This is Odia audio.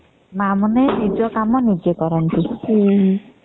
ମା ମାନେ ନିଜ କାମ ନିଜେ କରନ୍ତି